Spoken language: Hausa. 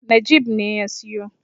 Najeeb ne ya siyo.